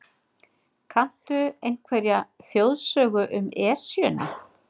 Kanntu einhverja þjóðsögu um Esjuna?